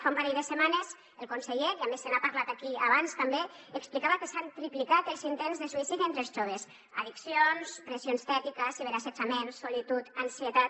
fa un parell de setmanes el conseller i a més se n’ha parlat aquí abans també explicava que s’han triplicat els intents de suïcidi entre els joves addiccions pressió estètica ciberassetjament solitud ansietat